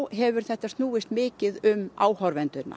hefur þetta snúist mikið um